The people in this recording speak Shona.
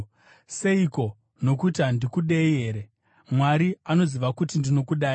Seiko? Nokuti handikudei here? Mwari anoziva kuti ndinokudai!